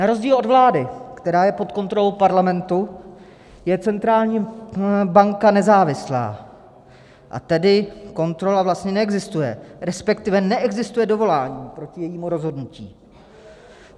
Na rozdíl od vlády, která je pod kontrolou parlamentu, je centrální banka nezávislá, a tedy kontrola vlastně neexistuje, respektive neexistuje dovolání proti jejímu rozhodnutí.